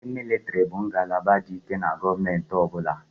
Ndị mịlịtịrị bụ ngalaba dị ike na gọọmentị ọ bụla.